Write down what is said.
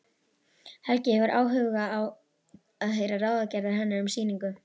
Helgi hefur áhuga á að heyra ráðagerðir hennar um sýningu.